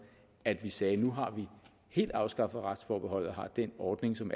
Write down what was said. at vi sagde at nu har vi helt afskaffet retsforbeholdet og har den ordning som